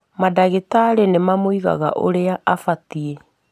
Madagĩtarĩ nĩmamũigaga ũrĩa abatiĩ